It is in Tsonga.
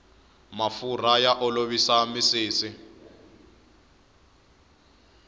mafurha ya ku olovisa misisi